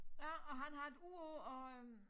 Ja og han har et ur på og øh